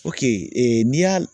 ee n'i y'a